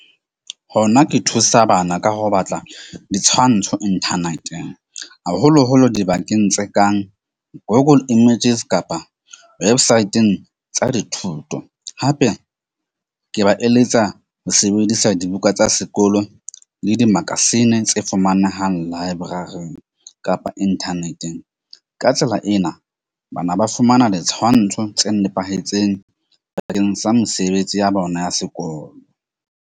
Hona ke thusa bana ka ho batla ditshwantsho inthaneteng haholoholo dibakeng tse kang Google images kapa websaeteng tsa dithuto. Hape ke ba eletsa ho sebedisa dibuka tsa sekolo le di-magazine tse fumanehang library-ing kapa inthaneteng. Ka tsela ena bana ba fumana le tshwantsho tse nepahetseng bakeng sa mesebetsi ya bona ya sekolo.